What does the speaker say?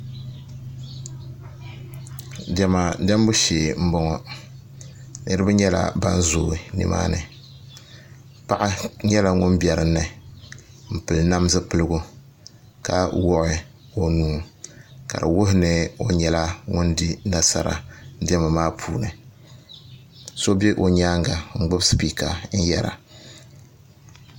Diɛma diɛmbu shee n boŋo niraba nyɛla ban zooi nimaani paɣa nyɛla ŋun bɛ dinni n pili nam zipiligu ka woɣi o nuu ka di wuhi ni o nyɛla ŋun di nasara diɛma maa puuni so bɛ o nyaanga n gbubi spiika n yɛra